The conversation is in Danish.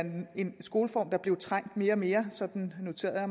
en skoleform der blev trængt mere og mere sådan noterede